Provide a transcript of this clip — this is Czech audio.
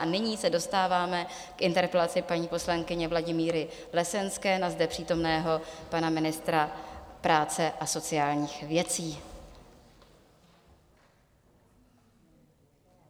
A nyní se dostáváme k interpelaci paní poslankyně Vladimíry Lesenské na zde přítomného pana ministra práce a sociálních věcí.